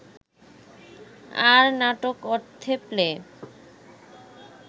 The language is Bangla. আর নাটক অর্থে প্লে